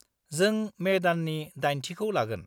-जों मे दाननि 8थिखौ लागोन।